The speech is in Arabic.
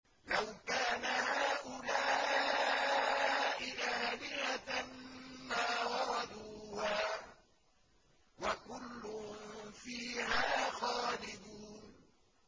لَوْ كَانَ هَٰؤُلَاءِ آلِهَةً مَّا وَرَدُوهَا ۖ وَكُلٌّ فِيهَا خَالِدُونَ